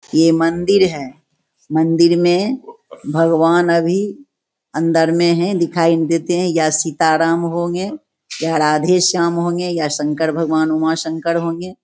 ये मंदिर है मंदिर में भगवान अभी अंदर में है। दिखाई नही देते है। यह सीता राम होंगे। या राधे श्याम होंगे या शंकर भगवान उमा शंकर होंगे।